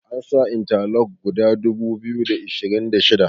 an sa inta lok guda dubu biyu da ashirin da shida